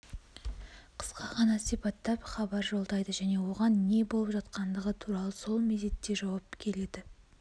қысқа ғана сипаттап хабар жолдайды және оған не болып жатқандығы туралы сол мезетте жауап келеді